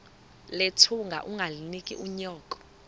nethunga ungalinik unyoko